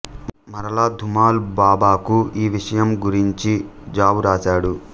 మరలా ధూమల్ బాబాకు ఈ విషయం గురించి జాబు వ్రాశాడు